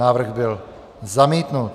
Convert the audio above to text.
Návrh byl zamítnut.